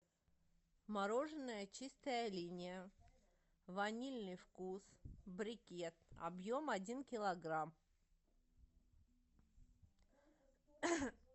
мороженое чистая линия ванильный вкус брикет объем один килограмм